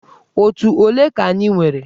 Otù ole ka anyị nwere?